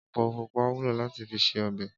Épó púpá wúló làtí fi sé òbè